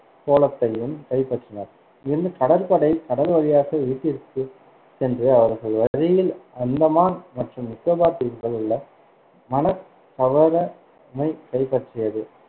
கோலத்தையும் கைப்பற்றினார் இங்கிருந்து, கடற்படை கடல் வழியாக வீட்டிற்குச் சென்று, அவர்கள் வழியில், அந்தமான் மற்றும் நிக்கோபார் தீவுகளில் உள்ள மணக்கவரமை கைப்பற்றியது.